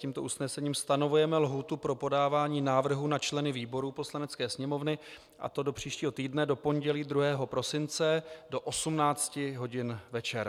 Tímto usnesením stanovujeme lhůtu pro podávání návrhů na členy výborů Poslanecké sněmovny, a to do příštího týdne do pondělí 2. prosince do 18 hodin večer.